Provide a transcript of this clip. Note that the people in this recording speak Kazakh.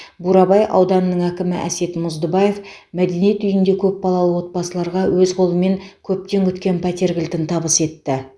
бурабай ауданының әкімі әсет мұздыбаев мәдениет үйінде көпбалалы отбасыларға өз қолымен көптен күткен пәтер кілтін табыс етті